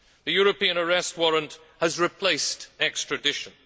The European Arrest Warrant has replaced extradition.